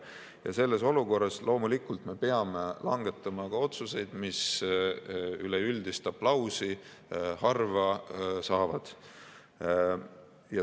Ja selles olukorras loomulikult me peame langetama ka otsuseid, mis üleüldist aplausi harva saavad.